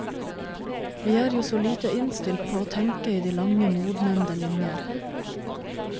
Vi er jo så lite innstilt på å tenke i de lange, modnende linjer.